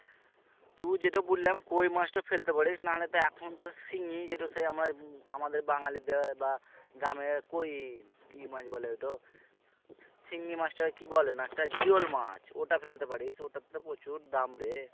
তু যেটা বললাম কই মাছটা ফেলতে পারিস না হলে তো এখন তো শিঙি যেটা সে আমার উম আমাদের বাঙালিতে বা গ্রামে কই কি মাছ বলে ওটো শিঙি মাছটা কে কি বলে না একটা জিওল মাছ ওটা ফেলতে পারিস ওটাতে তো প্রচুর দাম রে